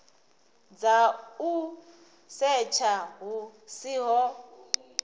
dza u setsha hu siho